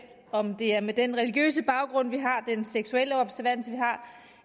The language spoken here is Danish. om det er med den religiøse baggrund vi har den seksuelle observans vi har